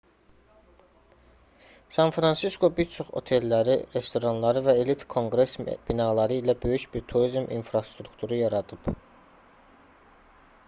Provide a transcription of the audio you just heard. san-fransisko bir çox otelləri restoranları və elit konqres binaları ilə böyük bir turizm infrastrukturu yaradıb